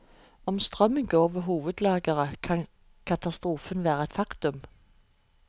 Om strømmen går ved hovedlageret, kan katastrofen være et faktum.